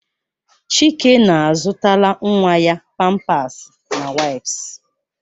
Chike na-azụtala nwa ya pampasi na waìps